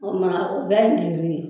O kumana o bɛɛ ye ye